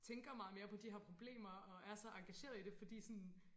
Tænker meget mere på de her problemer og er så engagerede i det fordi sådan